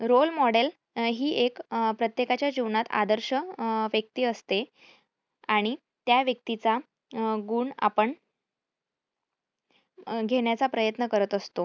role model ही एक प्रत्येकाच्या जीवनात आदर्श अं व्यक्ती असते. आणि त्या व्यक्तीचा गुण आपण अं घेण्याचा प्रयत्न करत असतो.